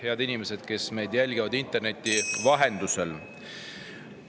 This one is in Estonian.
Head inimesed, kes jälgivad meid interneti vahendusel!